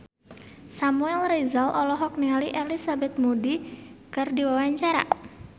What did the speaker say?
Samuel Rizal olohok ningali Elizabeth Moody keur diwawancara